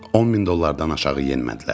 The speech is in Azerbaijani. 10000 dollardan aşağı yenmədilər.